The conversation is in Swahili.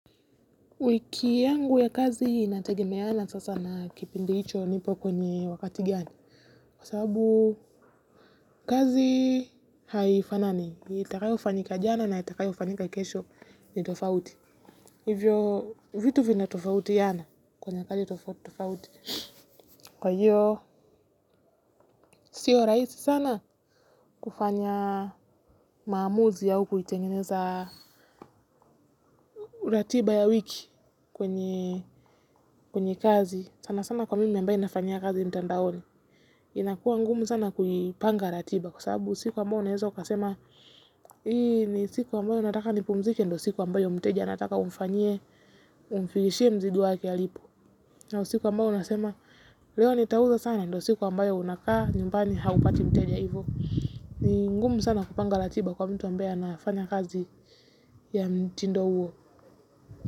Wiki yangu ya kazi inategemeana sasa na kipindi hicho nipo kwenye wakati gani. Kwa sababu kazi haifanani. Itakayo fanyika jana na itakayo fanyika kesho ni tofauti. Hivyo vitu vina tofautiana kwenye kazi tofauti. Kwa hiyo, sio rahisi sana kufanya maamuzi ya huku nilitengeneza ratiba ya wiki kwenye kazi. Sana sana kwa mimi ambaye nafanyia kazi mtandaoni. Inakuwa ngumu sana kujipanga ratiba kwa sababu siku ambayo unaweza ukasema hii ni siku ambayo nataka nipumzike ndio siku ambayo mteja anataka umfanyie umfikishie mzigo wake alipo. Na siku ambayo unasema leo nitauza sana ndio siku ambayo unakaa nyumbani haupati mteja hivo. Ni ngumu sana kupanga ratiba kwa mtu ambaye anafanya kazi ya mtindo huo.